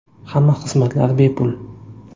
Hamma xizmatlar bepul.